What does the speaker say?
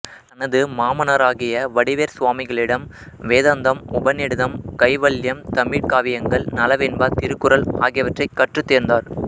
தனது மாமனாராகிய வடிவேற் சுவாமிகளிடம் வேதாந்தம் உபநிடதம் கைவல்யம் தமிழ்க்காவியங்கள் நளவெண்பா திருக்குறள் ஆகியவற்றைக் கற்றுத் தேர்ந்தார்